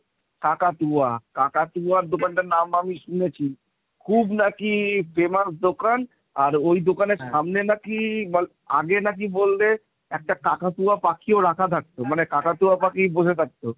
কাকাতুয়া কাকাতুয়া দোকানটার নাম আমি শুনেছি খুব নাকি famous দোকান আর ওই দোকানের সামনে নাকি আগে নাকি বললে একটা কাকাতুয়া পাখিও রাখা থাকতো মানে কাকাতুয়া পাখি বসে থাকতো।